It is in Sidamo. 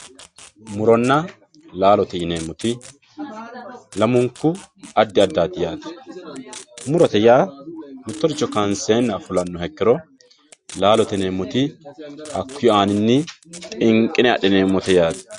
muronna laalote yineemmoti lamunku adda addaati yaaate murote yaa mittoricho kaanseenna fulannoha ikkiro laalote yineemmmoti hakkuyi aaninni xinqine adhineemmote yaate.